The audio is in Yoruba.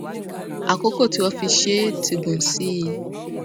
àkókò tí wọn fi ṣe é ti gùn sí i